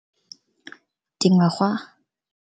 Dingwaga